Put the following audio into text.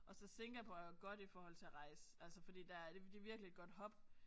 Og så Singapore er jo godt i forhold til rejse altså fordi der er det det virkelig et godt hub